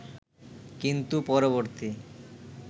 কিন্তু পরবর্তী